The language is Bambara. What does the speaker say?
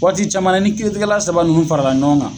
Waati caman na ni kiiritigɛla saba nunnu farala ɲɔgɔn kan